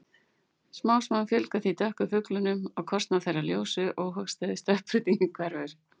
Smám saman fjölgar því dökku fuglunum á kostnað þeirra ljósu- óhagstæða stökkbreytingin hverfur.